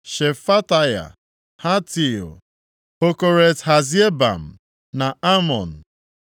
Shefataya, Hatil, Pokeret-Hazebaim na Amọn.